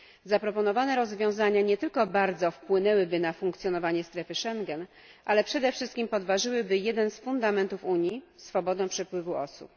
Zaproponowane rozwiązania nie tylko bardzo wpłynęłyby na funkcjonowanie strefy Schengen, ale przede wszystkim podważyłyby jeden z fundamentów Unii swobodę przepływu osób.